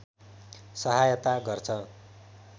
सहायता गर्छ